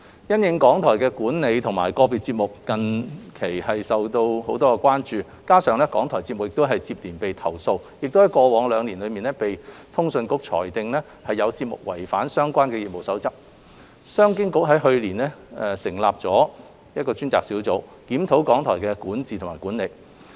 因應港台的管理和個別節目內容近期備受關注，加上港台節目接連遭到投訴，並在過去兩年被通訊局裁定有節目違反相關的業務守則，商經局於去年成立專責小組，檢討港台的管治及管理。